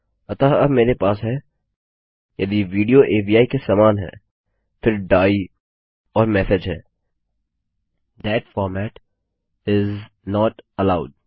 अतः अब मेरे पास है यदि विडियो अवि के समान है फिर डाइ और मेसेज है that format is not allowed